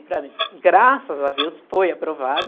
E para mim, graças a Deus, foi aprovado.